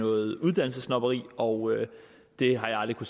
noget uddannelsessnobberi og det har jeg aldrig